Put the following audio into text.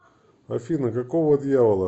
афина какого дьявола